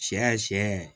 Sɛ sɛ